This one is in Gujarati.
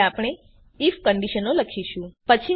હવે આપણે આઇએફ કંડીશનો લખીશું